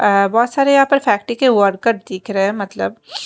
अह बहुत सारे यहाँ पर फैक्ट्री के वर्कर दिख रहे हैं मतलब --